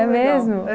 É mesmo?